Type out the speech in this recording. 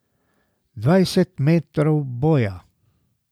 Dvajset metrov boja!